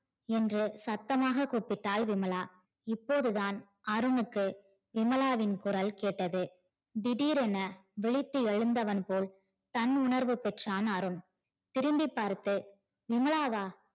என்று சத்தமாக கூப்பிட்டால் விமலா இப்போதுதான் அருணுக்கு விமலாவின் குரல் கேட்டது திடிரென விழித்து எழுந்தவன் போல் தன் உணர்வு பெற்றான் அருண் திரும்பி பார்த்து விமலாவா